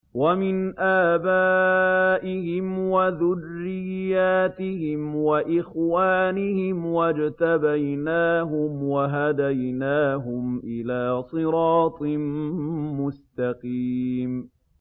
وَمِنْ آبَائِهِمْ وَذُرِّيَّاتِهِمْ وَإِخْوَانِهِمْ ۖ وَاجْتَبَيْنَاهُمْ وَهَدَيْنَاهُمْ إِلَىٰ صِرَاطٍ مُّسْتَقِيمٍ